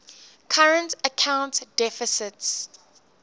current account deficits